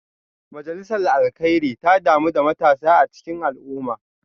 Majalisar Alkairi ta damu da matasa a cikin al’umma